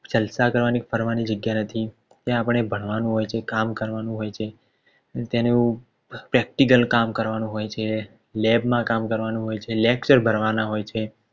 જલશા કરવાની કે ફરવાની જગ્યા નથી ત્યાં આપણે ભણવાનું હોય છે કામ કરવાનું હોય છે. અને તેનું Practical કામ કરવાનું હોય છે લેબમાં કામ કરવાનું હોય છે lecture ભરવાના હોય છે